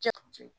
Ja